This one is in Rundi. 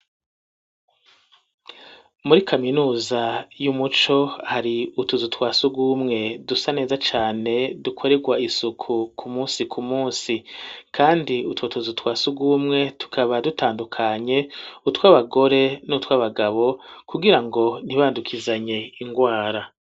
Muri kaminuza y'umuco hari utuzu twasugumwe dusa neza cane dukorerwa isuku ku musi ku munsi kandi utwo tuzu twasugumwe tukaba dutandukanye utwabagore n'utwabagabo kugira ngo ntibandukizanye ingwara